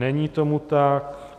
Není tomu tak.